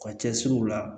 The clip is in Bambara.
Ka cɛsiriw la